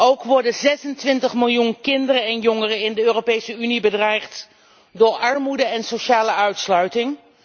Ook worden 26 miljoen kinderen en jongeren in de Europese Unie bedreigd door armoede en sociale uitsluiting.